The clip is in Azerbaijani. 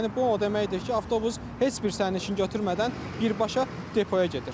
Yəni bu o deməkdir ki, avtobus heç bir sərnişin götürmədən birbaşa depoya gedir.